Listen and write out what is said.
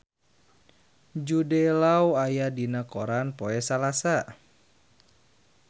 Jude Law aya dina koran poe Salasa